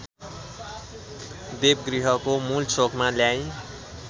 देवगृहको मूलचोकमा ल्याई